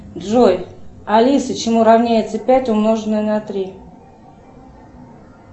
джой алиса чему равняется пять умноженное на три